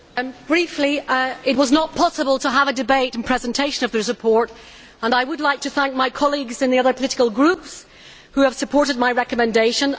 Madam President, briefly stated, it was not possible to have a debate and presentation of the report and I would like to thank my colleagues in the other political groups who have supported my recommendation.